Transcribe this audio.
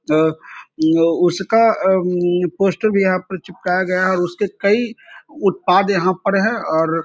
ज अ उसका म पोस्ट भी यहाँ पे चिपकाया गया है उसके कई उत्पाद यहाँ पर हैं और --